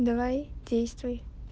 давай действуй